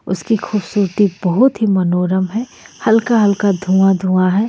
उसकी खूबसूरती बहुत ही मनोरम है हल्का हल्का धुआं धुआं है.